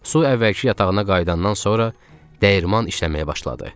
Su əvvəlki yatağına qayıdandan sonra dəyirman işləməyə başladı.